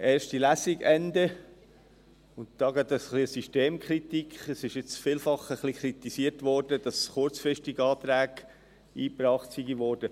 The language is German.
Ende erste Lesung und hier gleich eine Systemkritik: Es wurde vielfach kritisiert, Anträge seien kurzfristig eingebracht worden.